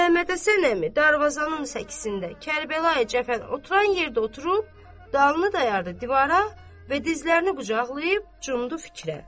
Məmmədhəsən əmi darvazanın səkisində Kərbəlayi Cəfərin oturan yerdə oturub, dalını dayadı divara və dizlərini qucaqlayıb cumdu fikrə.